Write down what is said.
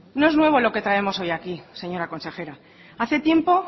no es nuevo lo que traemos hoy aquí señora consejera hace tiempo